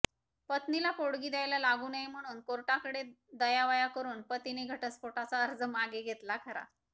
पत्नीला पोटगी द्यायला लागू नये म्हणून कोर्टाकडे दयावया करून पतीने घटस्फोटाचा अर्ज मागे घेतला खरा